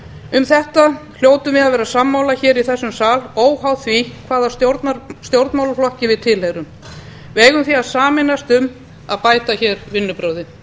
um þetta hljótum við að vera sammála í þessum sal óháð því hvaða stjórnmálaflokki við tilheyrum við eigum því að sameinast um að bæta vinnubrögðin